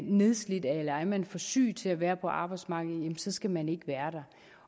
nedslidt eller er man for syg til at være på arbejdsmarkedet så skal man ikke være